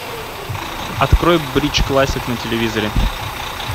открой бридж классик на телевизоре